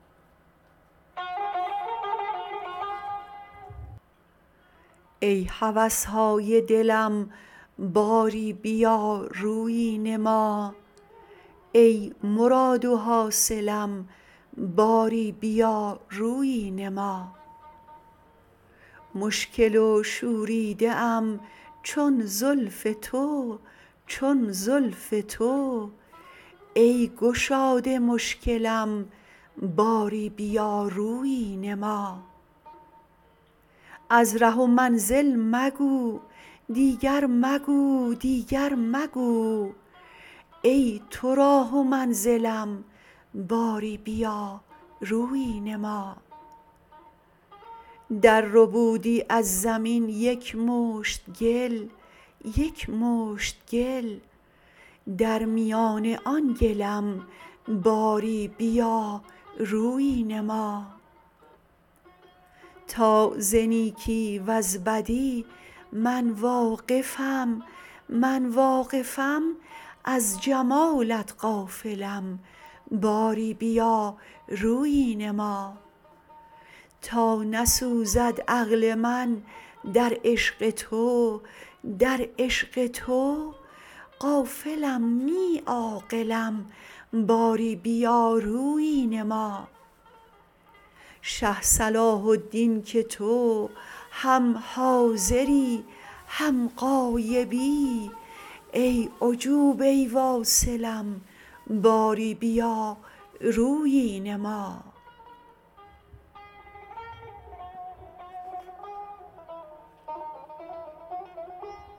ای هوس های دلم باری بیا رویی نما ای مراد و حاصلم باری بیا رویی نما مشکل و شوریده ام چون زلف تو چون زلف تو ای گشاد مشکلم باری بیا رویی نما از ره و منزل مگو دیگر مگو دیگر مگو ای تو راه و منزلم باری بیا رویی نما درربودی از زمین یک مشت گل یک مشت گل در میان آن گلم باری بیا رویی نما تا ز نیکی وز بدی من واقفم من واقفم از جمالت غافلم باری بیا رویی نما تا نسوزد عقل من در عشق تو در عشق تو غافلم نی عاقلم باری بیا رویی نما شه صلاح الدین که تو هم حاضری هم غایبی ای عجوبه واصلم باری بیا رویی نما